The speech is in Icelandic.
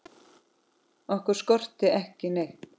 Okkur skorti aldrei neitt.